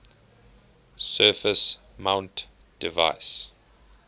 surface mount device